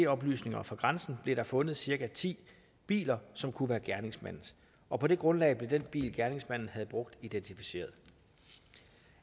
oplysninger fra grænsen blev der fundet cirka ti biler som kunne være gerningsmandens og på det grundlag blev den bil som gerningsmanden havde brugt identificeret